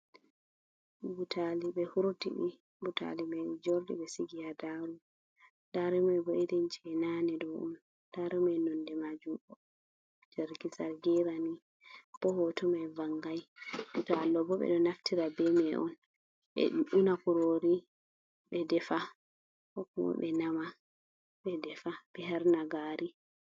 Butaali ɓe huurti ɗi, butaali may joorɗi ɓe sigi ha nder daaro, daaro may bo "irin" jey naane ɗo on. Daaro may nonnde maajum zargizargiina nii. bo hooto may vanngay. Butaali ɗoo bo ɓe ɗo naftira bee may on ɓe una kuroori ɓe defa koo kuma ɓe nama ɓe defa ɓe harna gaari.